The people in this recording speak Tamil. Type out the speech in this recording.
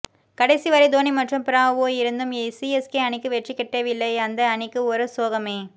கடைசி வரை தோனி மற்றும் பிராவோ இருந்தும் சிஎஸ்கே அணிக்கு வெற்றி கிட்டவில்லை அந்த அணிக்கு ஒரு சோகமே